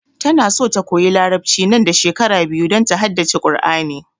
Ta na so ya koya larabci nan da shekara biyu don ta haddace Kur'ani